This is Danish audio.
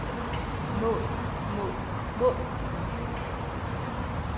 mål mål mål